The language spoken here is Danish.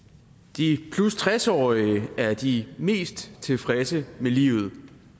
de 60 årige er de mest tilfredse med livet